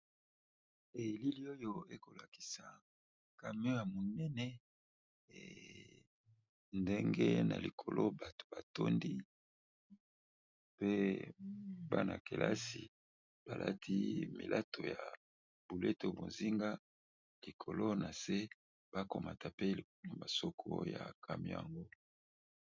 Elili oyo ekolakisa camion ya monene ndenge na likolo bato batondi pe Bana kilasi bakati bilato ya bonzinga likolo nase bakomata na masoko nayango.